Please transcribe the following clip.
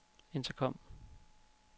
intercom